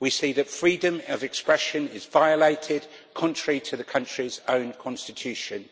We see that freedom of expression is violated, contrary to the country's own constitution,